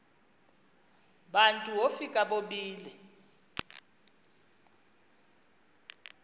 bantu wofika bobile